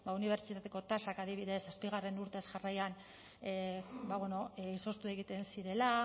unibertsitateko tasak adibidez zazpigarrena urtez jarraian izoztu egiten zirela